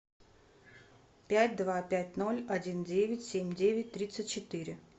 пять два пять ноль один девять семь девять тридцать четыре